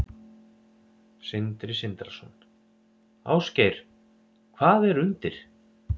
Sindri Sindrason: Ásgeir, hvað er undir?